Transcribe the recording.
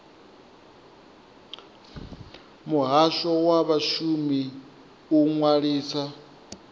muhasho wa vhashumi u ṅwalisa